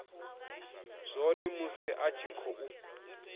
zwone musi a tshi khou